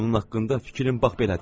Onun haqqında fikrim bax belədir.